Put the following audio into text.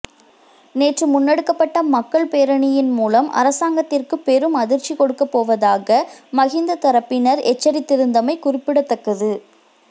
நேற்று முன்னெடுக்கப்பட்ட மக்கள் பேரணியின் மூலம் அரசாங்கத்திற்கு பெரும் அதிர்ச்சி கொடுக்கப் போவதாக மஹிந்த தரப்பினர் எச்சரித்திருந்தமை குறிப்பிடத்தக்கது